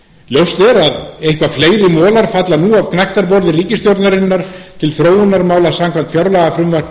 ljóst er að eitthvað fleiri molar falla nú af gnægtaborði ríkisstjórnarinnar til þróunarmála samkvæmt fjárlagafrumvarpi